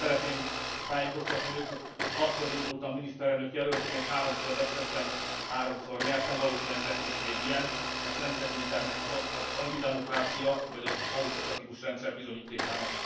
Szeretném tájékoztatni őt, hogy hatszor indultam miniszterelnök jelöltként, háromszor vesztettem, háromszor nyertem, valószínűleg lesz is még ilyen, ezt nem tekintem az antidemokrácia vagy az autokratikus rendszer bizonyítékának.